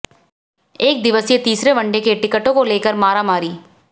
एक दिवसीय तीसरे वनडे के टिकटों को लेकर मारामारी